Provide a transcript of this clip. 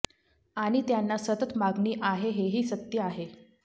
आणि त्यांना सतत मागणी आहे हेही सत्य आहे